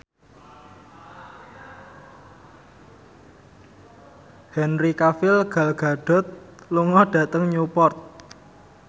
Henry Cavill Gal Gadot lunga dhateng Newport